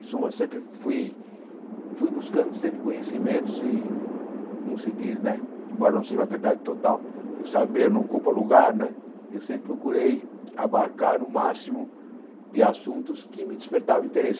Em suma, sempre fui fui buscando sempre conhecimentos e, como se diz né, embora não seja uma verdade total, que o saber não ocupa lugar, eu sempre procurei abarcar o máximo de assuntos que me despertavam interesse.